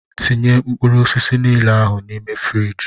Tinye mkpụrụ osisi niile ahụ n'ime fruidge!!!